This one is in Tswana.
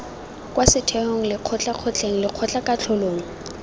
kwa setheong lekgotleng kgotleng lekgotlakatlholong